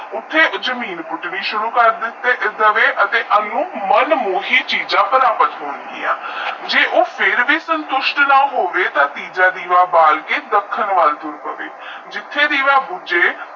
ਉਥੇ ਦੀਵਾ ਬੁਜ ਉਠੇ ਜਮੀਨ ਪੁੱਠਣੇ ਸੁਰੂ ਕਰ ਦੇ ਤੇ ਅਤੇ ਮੈਨ ਮੋਹਤੀ ਚੀਜਾ ਪ੍ਰਾਪਤ ਹੁਣ ਗਿਆ ਜੇ ਉਹ ਫਰ ਬੀ ਸੁਨਸੱਟ ਨਾ ਹੋਵੇ ਤਾ ਤੇਜਾ ਦੇਵਾ ਬਾਲ ਕੇ ਦੱਖਣ ਵੱਲ ਤੁਰ ਪਾਵੇ